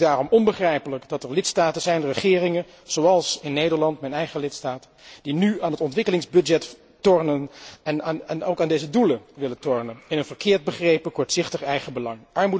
Het is daarom onbegrijpelijk dat er lidstaten zijn en regeringen, zoals in Nederland, mijn eigen land, die nu aan de ontwikkelingsbegroting tornen en ook aan deze doelen willen tornen. In een verkeerd begrepen, kortzichtig eigenbelang.